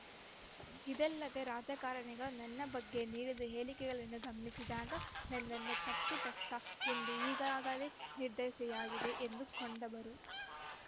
ಇದಲ್ಲದೆ ರಾಜಕಾರಣಿಗಳು ನನ್ನ ಬಗ್ಗೆ ನೀಡಿದ ಹೇಳಿಕೆಗಳನ್ನು ಗಮನಿಸಿದಾಗ ನನ್ನನ್ನು ತಪ್ಪಿತಸ್ಥ ಎಂದು ಈಗಾಗಲೇ ನಿರ್ಧರಿಸೆಯಾಗಿದೆ ಎಂದು ಕೊಂಡವರು